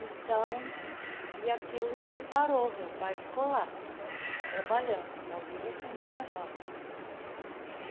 Então, e aquilo separou, meu pai ficou lá trabalhando, só vinha fim de semana.